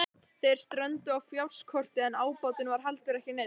Þeir strönduðu á fjárskorti en ábatinn var heldur ekki neinn.